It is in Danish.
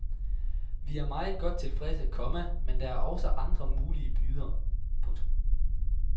Vi er meget godt tilfredse, komma men der er også andre mulige bydere. punktum